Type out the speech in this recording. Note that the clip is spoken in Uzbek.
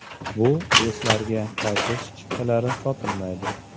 Bu reyslarga qaytish chiptalari sotilmaydi.